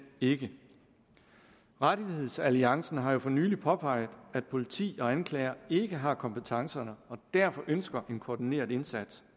ikke rettighedsalliancen har for nylig påpeget at politi og anklager ikke har kompetencerne og derfor ønsker man en koordineret indsats